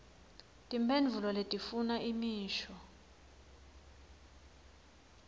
timphendvulo letifuna imisho